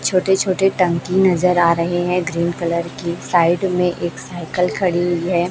छोटे छोटे टंकी नजर आ रहे है ग्रीन कलर की साइड में एक साइकल खड़ी है।